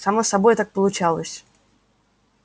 само собой так получалось